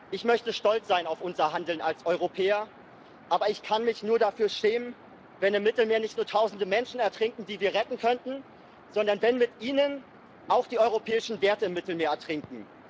Ich möchte stolz sein auf unser Handeln als Europäer, aber ich kann mich nur dafür schämen, wenn im Mittelmeer nicht nur Tausende Menschen ertrinken, die wir retten könnten, sondern wenn mit ihnen auch die europäischen Werte im Mittelmeer ertrinken.